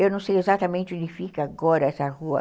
Eu não sei exatamente onde fica agora essa rua.